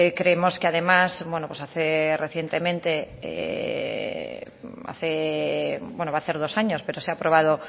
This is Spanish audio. creemos que además que hace recientemente hace bueno va a hacer dos años pero se ha aprobado